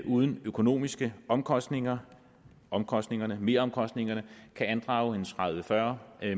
uden økonomiske omkostninger omkostninger meromkostningerne kan andrage tredive til fyrre